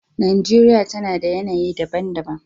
Najeriya tana da yanayi daban-daban.